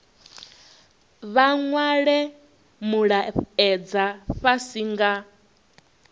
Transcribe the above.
vha nwale mulaedza fhasi nga